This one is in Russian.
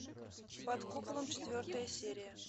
под куполом четвертая серия